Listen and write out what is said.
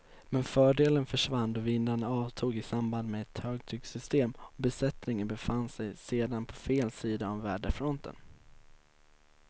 Men fördelen försvann då vindarna avtog i samband med ett högtrycksystem och besättningen befann sig sedan på fel sida om väderfronten.